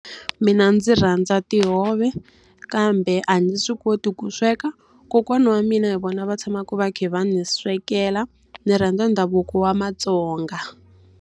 Mina ndzi rhandza tihove, kambe a ndzi swi koti ku sweka. Kokwana wa mina hi vona va tshamaka va kha va ni swekela, Ndzi rhandza ndhavuko wa maTsonga.